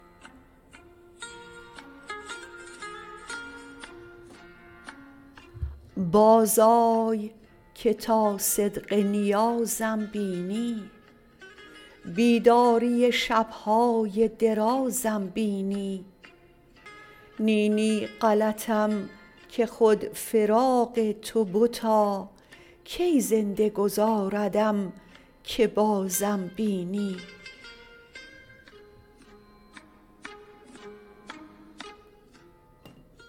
باز آی که تا صدق نیازم بینی بیداری شبهای درازم بینی نی نی غلطم که خود فراق تو بتا کی زنده گذاردم که بازم بینی